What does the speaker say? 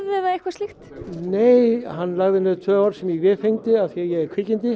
eða eitthvað slíkt nei hann lagði niður tvö orð sem ég véfengdi af því ég er